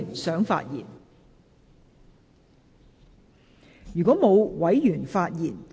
是否有委員想發言？